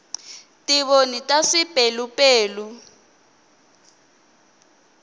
tivoni ta swipelupelu